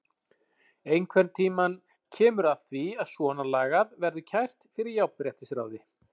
Einhvern tímann kemur að því að svona lagað verður kært fyrir jafnréttisráði.